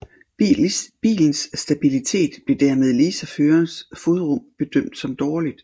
Bilens stabilitet blev dermed ligesom førerens fodrum bedømt som dårlig